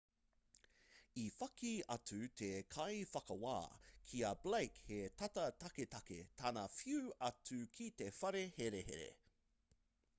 i whakī atu te kaiwhakawā ki a blake he tata taketake tana whiu atu ki te whare herehere